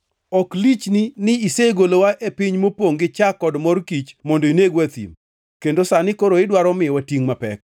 Ok lichni ni isegolowa e piny mopongʼ gi chak kod mor kich mondo inegwa e thim? Kendo sani koro idwaro miyowa tingʼ mapek?